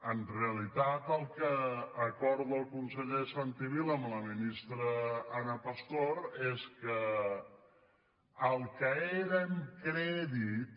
en realitat el que acorda el conseller santi vila amb la ministra ana pastor és que el que eren crèdits